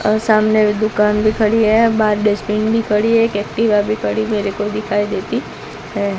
और सामने दुकान भी खड़ी है बाहर डस्टबिन भी खड़ी है एक एक्टिवा भी खड़ी मेरे को दिखाई देती है।